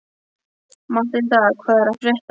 Matthilda, hvað er að frétta?